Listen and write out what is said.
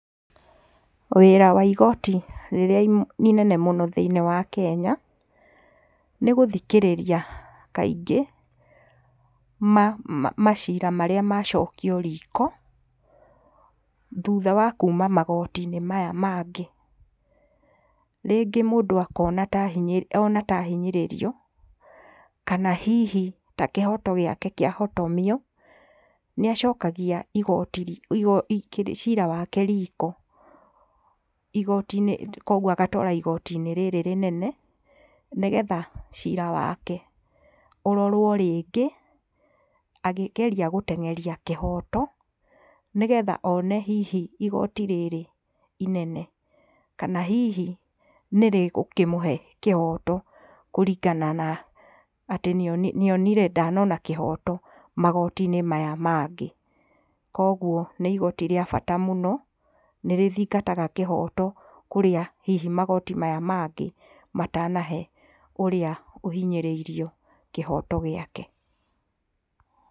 Wĩra wa igoti rĩrĩa inene mũno thĩiniĩ wa Kenya, nĩ gũthikĩrĩria kaingĩ, maciira marĩa macokio riko, thutha wa kuma magoti-inĩ maya mangĩ. Rĩngĩ mũndũ akona ta ahinyĩrĩrio, ona ta ahinyĩrĩrio, kana hihi ta kĩhoto gĩake kĩahotomio, nĩ acokagia igoti, igoti, ciira wake riko igoti-inĩ, koguo agatwara igoti-inĩ rĩrĩ rĩnene, nĩgetha ciira wake ũrorwo rĩngĩ akĩgeria gũteng'eri kĩhoto, nĩgetha one hihi igoti rĩrĩ inene, kana hihi nĩ rĩgũkĩmũhe kĩhoto kũringana na atĩ nĩonire, nĩ onire ndanona kĩhooto magoti-inĩ maya mangĩ. Kogwo nĩ igoti rĩa bata mũno, nĩrĩthingataga kĩhooto kũrĩa hihi magoti maya mangĩ matanahe ũrĩa ũhinyĩrĩirio kĩhoto gĩake.